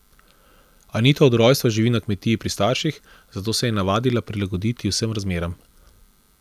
Anita od rojstva živi na kmetiji pri starših, zato se je navadila prilagoditi vsem razmeram.